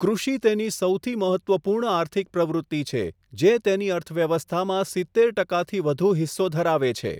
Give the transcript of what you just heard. કૃષિ તેની સૌથી મહત્ત્વપૂર્ણ આર્થિક પ્રવૃતિ છે, જે તેની અર્થવ્યવસ્થામાં સિત્તેર ટકાથી વધુ હિસ્સો ધરાવે છે.